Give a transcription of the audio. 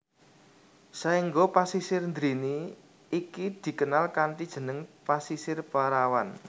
Saengga Pasisir Drini iki dikenal kanthi jeneng Pasisir Perawan